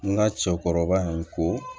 N ka cɛkɔrɔba in ko